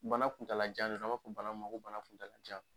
Bana kuntala jan de don, an b'a fɔ bana mun ko bala kuntala jan.